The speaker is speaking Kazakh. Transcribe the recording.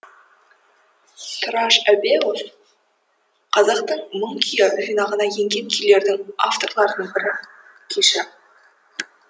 тұраш әбеуов қазақтың мың күйі жинағына енген күйлердің авторларының бірі күйші